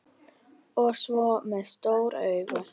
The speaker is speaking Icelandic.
Og með svona stór augu.